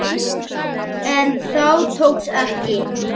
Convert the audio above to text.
En það tókst ekki.